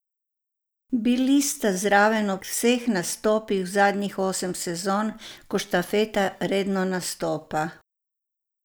Bili sta zraven ob vseh nastopih zadnjih osem sezon, ko štafeta redno nastopa.